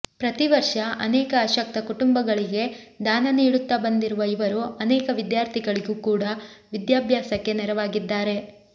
ಪ್ರತಿ ವರ್ಷ ಅನೇಕ ಅಶಕ್ತ ಕುಟುಂಬಗಳಿಗೆ ದಾನ ನೀಡುತ್ತಾ ಬಂದಿರುವ ಇವರು ಅನೇಕ ವಿದ್ಯಾರ್ಥಿಗಳಿಗೂ ಕೂಡಾ ವಿದ್ಯಾಭ್ಯಾಸಕ್ಕೆ ನೆರವಾಗಿದ್ದಾರೆ